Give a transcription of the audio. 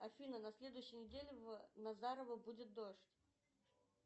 афина на следующей неделе в назарово будет дождь